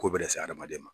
Ko bɛɛ lase hadamaden ma